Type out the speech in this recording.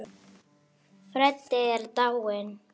Freddi er dáinn.